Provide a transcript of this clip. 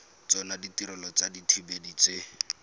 tsona ditirelo tsa dithibedi tse